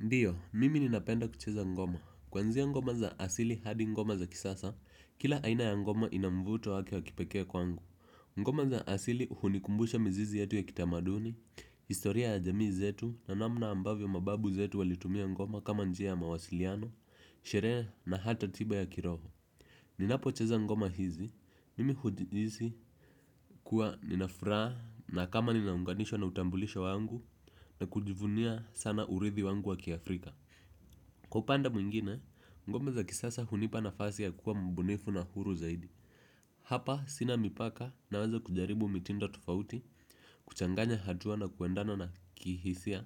Ndiyo, mimi ninapenda kucheza ngoma. Kwanzia ngoma za asili hadi ngoma za kisasa, kila aina ya ngoma ina mvuto wake wa kipekee kwangu. Ngoma za asili hunikumbusha mizizi yetu ya kitamaduni, historia ya jamii zetu na namna ambavyo mababu zetu walitumia ngoma kama njia ya mawasiliano, sherehe na hata tiba ya kiroho. Ninapocheza ngoma hizi mimi hujihisi kuwa nina furaha na kama ninaunganishwa na utambulisho wangu na kujivunia sana urithi wangu wa kiafrika. Kwa upande mwingine, ngoma za kisasa hunipa nafasi ya kuwa mbunifu na huru zaidi. Hapa, sina mipaka na weza kujaribu mitindo tofauti, kuchanganya hatua na kuendana na kihisia.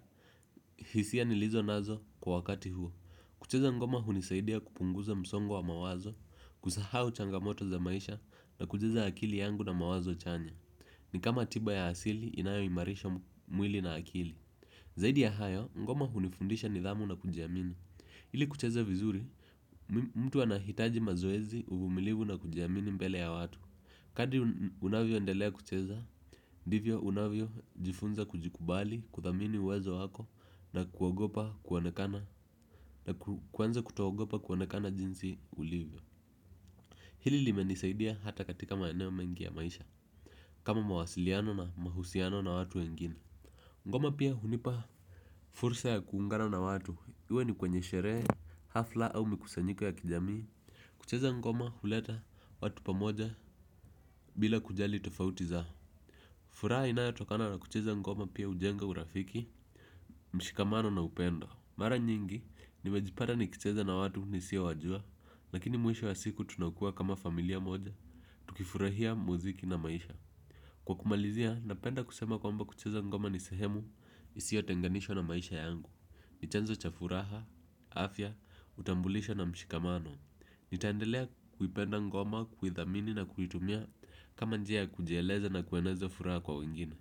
Hisia ni lizo nazo kwa wakati huo. Kucheza ngoma hunisaidia kupunguza msongo wa mawazo, kusahau changamoto za maisha na kujaza akili yangu na mawazo chanya. Ni kama tiba ya asili inayo imarisha mwili na akili. Zaidi ya hayo, ngoma hunifundisha nidhamu na kujiamini. Ili kucheza vizuri mtu anahitaji mazoezi uvumilivu na kujiamini mbele ya watu. Kadri unavyo endelea kucheza ndivyo unavyo jifunza kujikubali kuthamini uwezo wako na kuogopa kuonekana na kuanza kutoogopa kuonekana jinsi ulivyo. Hili limenisaidia hata katika maeneo mengi ya maisha kama mawasiliano na mahusiano na watu wengine. Ngoma pia hunipa fursa ya kuungana na watu, iwe ni kwenye sherehe, hafla au mikusanyiko ya kijamii. Kucheza ngoma huleta watu pamoja bila kujali tofauti za furaha inayatokana na kucheza ngoma pia hujenga urafiki, mshikamano na upendo. Mara nyingi, nimejipata ni kicheza na watu ni sio wajua. Lakini mwisho wa siku tunakuwa kama familia moja, tukifurahia muziki na maisha. Kwa kumalizia, napenda kusema kwa mba kucheza ngoma ni sehemu, isiyo tenganishwa na maisha yangu. Ni chanzo cha furaha, afya, utambulisho na mshikamano. Nitaendelea kuipenda ngoma, kuithamini na kuitumia kama njia kujeleza na kueneza furaha kwa wengine.